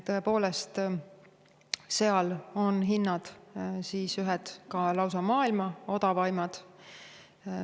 Tõepoolest, seal on hinnad ka lausa maailma odavaimad.